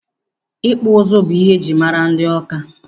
Ịkpụ ụzụ bụ ihe ejiri mara ndị Ọka.